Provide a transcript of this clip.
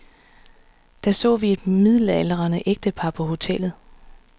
Der så vi et midaldrende ægtepar på hotellet.